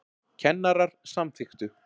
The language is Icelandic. Kennarar samþykktu